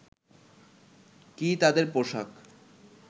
কী তাদের পোশাক